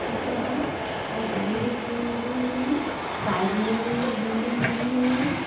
छोटे बड़े और बड़े भी पेड़ लगे हुए है। साइड मे भी बिल्डिंग बनी हुई है।